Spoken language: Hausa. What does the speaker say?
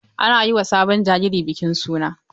Ana yi ma sabon jariri bikin suna.